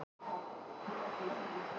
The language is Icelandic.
Fyrsta markmið er ekki komið